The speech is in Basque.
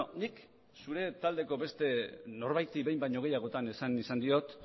nik zure taldeko beste norbaiti behin baino gehiagotan esan izan diot